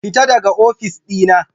Fita daga ofis ɗina!